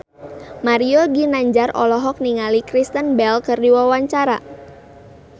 Mario Ginanjar olohok ningali Kristen Bell keur diwawancara